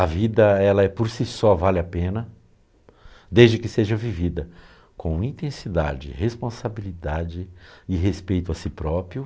A vida, ela é por si só, vale a pena, desde que seja vivida com intensidade, responsabilidade e respeito a si próprio.